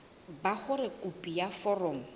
ba hore khopi ya foromo